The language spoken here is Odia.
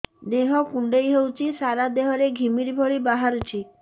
ଦେହ କୁଣ୍ଡେଇ ହେଉଛି ସାରା ଦେହ ରେ ଘିମିରି ଭଳି ବାହାରୁଛି